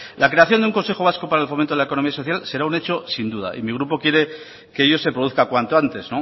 la creación de un consejo vasco para el fomento de la economía social será un hecho sin duda y mi grupo quiere que ello se produzca cuanto antes